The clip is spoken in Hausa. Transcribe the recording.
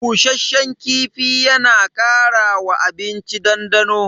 Bushasshen kifi yana kara wa abinci dandano.